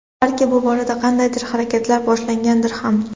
Balki bu borada qandaydir harakatlar boshlangandir ham.